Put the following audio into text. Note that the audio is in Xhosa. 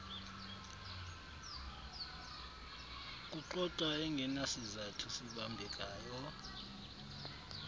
kuxoxa engenasizathu sibambekayo